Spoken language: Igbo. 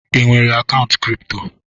Ị nwere akaụntụ kripto?